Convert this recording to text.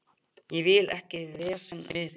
Ég vil ekkert vesen við þig.